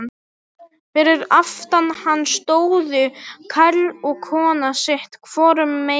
Fyrir aftan hann stóðu karl og kona, sitt hvorum megin.